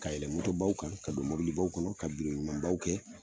Ka yɛlɛ baw kan, ka don mɔbilibaw kɔnɔ, ka ɲumanbaw kɛ